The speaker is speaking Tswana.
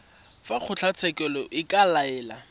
fa kgotlatshekelo e ka laela